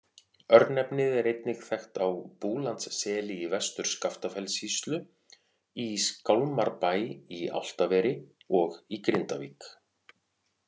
Örnefnið er einnig þekkt á Búlandsseli í Vestur-Skaftafellssýslu, í Skálmarbæ í Álftaveri og í Grindavík.